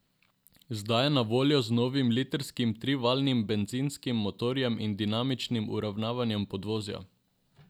Zdaj je na voljo z novim litrskim trivaljnim bencinskim motorjem in dinamičnim uravnavanjem podvozja.